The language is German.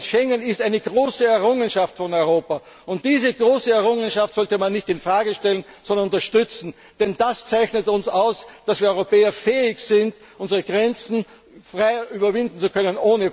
Schengen ist eine große Errungenschaft von Europa. Diese große Errungenschaft sollte man nicht in Frage stellen, sondern unterstützen, denn das zeichnet uns aus, dass wir Europäer fähig sind, unsere Grenzen frei und ohne Pässe überwinden zu können.